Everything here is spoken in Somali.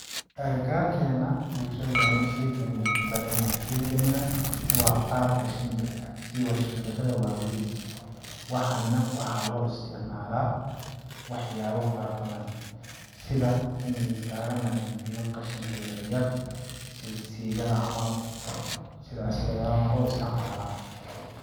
Agagaarkena bulshadeena sheygani uu kubadan yahay sheygani nah waa baalka shimbirka sii ba shimbirada waa weyn waani nah waxaa loo isticmalaa waxyaabo fara badan sida in kiskaaga nadiifiyo qashinka yaryar sida sii gada camal sidaasi ayaa loo isticmalaa.